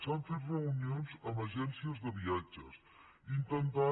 s’han fet reunions amb agències de viatges intentant